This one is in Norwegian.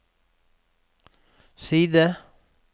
side